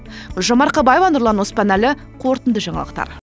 гүлжан марқабаева нұрлан оспанәлі қорытынды жаңалықтар